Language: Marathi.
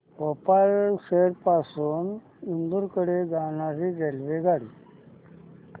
भोपाळ शहर पासून इंदूर कडे जाणारी रेल्वेगाडी